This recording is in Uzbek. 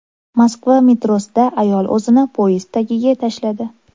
Moskva metrosida ayol o‘zini poyezd tagiga tashladi.